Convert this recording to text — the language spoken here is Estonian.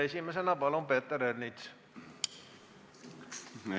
Esimesena palun Peeter Ernits!